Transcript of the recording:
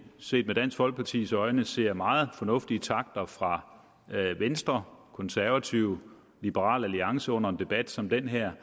set med dansk folkepartis øjne ser meget fornuftige takter fra venstre konservative og liberal alliance under en debat som den her